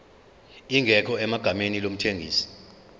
ingekho egameni lomthengisi